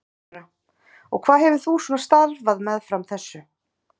Þóra: Og hvað hefur þú svona starfað meðfram þessu?